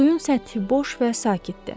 Suyun səthi boş və sakitdi.